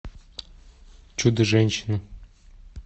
чудо женщина